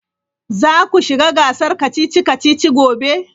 Za ku shiga gasar kacici-kacici gobe.